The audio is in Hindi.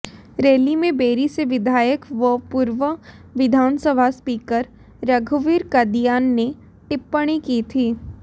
रैली में बेरी से विधायक व पूर्व विधानसभा स्पीकर रघुवीर कादियान ने टिप्पणी की थी